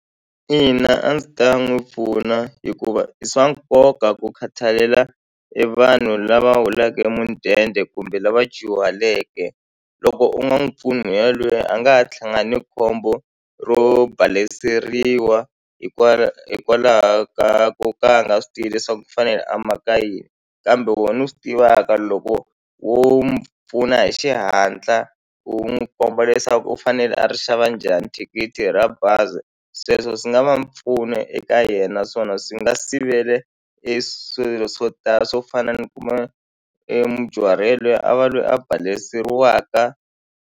Ina a ndzi ta n'wi pfuna hikuva i swa nkoka ku khathalela e vanhu lava holaka e mudende kumbe lava dyuhaleke loko u nga n'wi mpfuni yalweye a nga ha ni khombo ro baleseriwa hikwalaho ka ku ka a nga swi tivi leswaku u fanele a maka yini kambe wena u swi tivaka loko wo mu pfuna hi xihatla u n'wi komba leswaku u fanele a ri xava njhani thikithi ra bazi sweswo swi nga va mpfuno eka yena naswona swi nga sivele e swilo swo tala swo fana ni kuma e mudyuhari yelweye a va lweyi a baleseriwaka.